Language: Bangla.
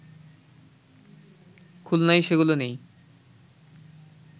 খুলনায় সেগুলো নেই